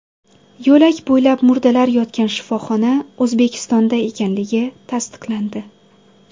Yo‘lak bo‘ylab murdalar yotgan shifoxona O‘zbekistonda ekanligi tasdiqlandi.